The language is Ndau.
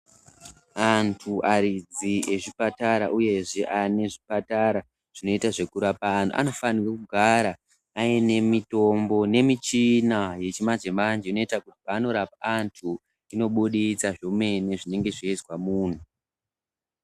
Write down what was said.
Antu aridzi ezvipatara uyezve ane zvipatara zvinoita zvekurapa antu, antu anofanirwe kugara aine mitombo aine mishina nemishina yechimanje manje inoita kuti paanorapa antu inobuditsa zvemene zvinenge zveizwa muntu.